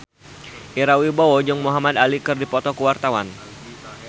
Ira Wibowo jeung Muhamad Ali keur dipoto ku wartawan